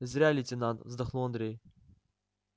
зря лейтенант вздохнул андрей